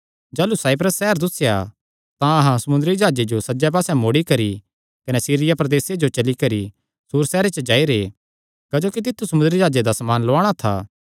जाह़लू साइप्रस सैहर दुस्सेया तां अहां समुंदरी जाह्जे जो सज्जे पास्से मोड़ी करी कने सीरिया प्रदेसे जो चली करी सूर सैहरे च जाई रैह् क्जोकि तित्थु समुंदरी जाह्जे दा समान लुआणा था